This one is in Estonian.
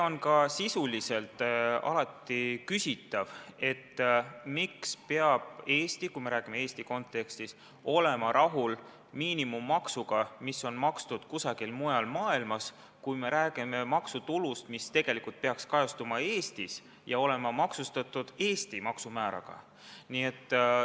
On ka sisuliselt küsitav, miks peab Eesti, kui me räägime Eesti kontekstis, olema rahul miinimummaksuga, mis on makstud kusagil mujal maailmas, kui me räägime maksutulust, mis tegelikult peaks kajastuma Eestis ja lähtuma Eesti maksumääradest.